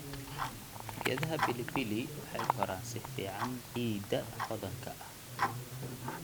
Geedaha pilipili waxay koraan si fiican ciidda hodanka ah.